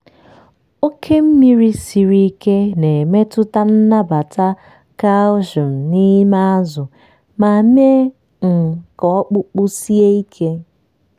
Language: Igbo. oke mmiri siri ike na-emetụta nnabata calcium n'ime azụ ma mee um ka ọkpụkpụ sie ike.